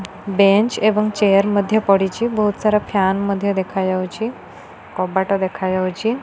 Bench ଏବଂ chair ମଧ୍ୟ ପଡ଼ିଚି। ବୋହୁତ୍ ସାରା ଫ୍ୟାନ ମଧ୍ୟ ଦେଖାଯାଉଚି। କବାଟ ଦେଖାଯାଉଚି।